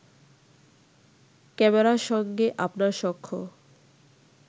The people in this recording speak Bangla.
ক্যামেরার সঙ্গে আপনার সখ্য